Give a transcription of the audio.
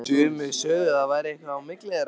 Sumir sögðu að það væri eitthvað á milli þeirra.